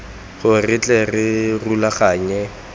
gore re tle re rulaganye